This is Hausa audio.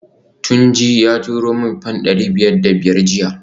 Tunji ya turo min fam dari biyar da biyar jiya